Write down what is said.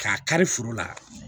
K'a kari foro la